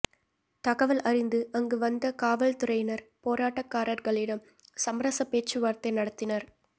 தகவல் அறிந்து அங்கு வந்த காவல்துறையினர் போராட்டகாரர்களிடம் சமரச பேச்சுவார்த்தை நடத்தினர்